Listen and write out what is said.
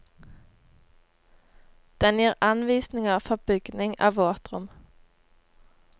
Den gir anvisninger for bygging av våtrom.